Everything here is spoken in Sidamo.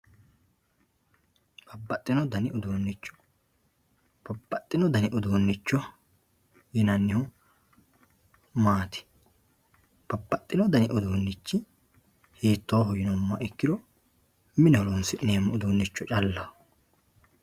Babaxino dani ifuunicjo, babaxino dani uduunicho yinannihu maati, babaxino dani ufuunichi hiitoho yinumoha ikkiro mine horonsineemo ufunicho callaho.